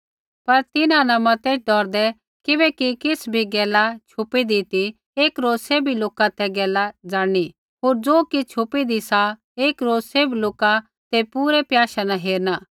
पर तिन्हां न मतेईत् डौरदै किबैकि किछ़ भी गैला छुपीदी ती एक रोज सैभी लोका ते गैला ज़ाणनी होर ज़ो किछ़ छुपीदी सा एक रोज़ सैभ लोका ते पूरै प्याशै न हेरणा